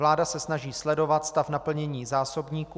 Vláda se snaží sledovat stav naplnění zásobníků.